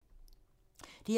DR2